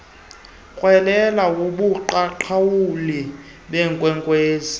rhwelele wobuqaqawuli beenkwenkwezi